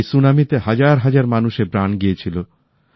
এই সুনামিতে হাজার হাজার মানুষের প্রাণ গিয়েছিল